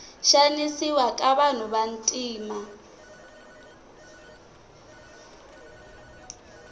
xanisiwa ka vanhu vantima